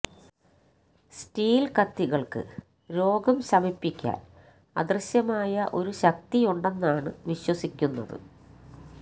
steel കത്തികള്ക്ക് രോഗം ശമിപ്പിക്കാന് അദൃശ്യമായ ഒരു ശക്തിയുണ്ടെന്നാണ് വിശ്വസിക്കുന്നത്